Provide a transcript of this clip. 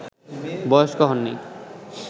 বয়স্ক হননি